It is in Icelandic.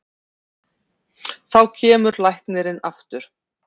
Þá kemur læknirinn aftur.